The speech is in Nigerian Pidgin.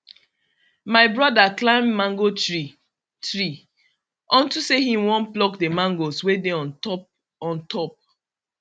my broda climb mango tree tree unto say him won pluck the mangoes wey dey on top on top